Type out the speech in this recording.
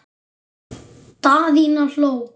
Daðína hló.